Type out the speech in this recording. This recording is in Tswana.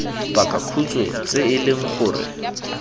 pakakhutshwe tse e leng gore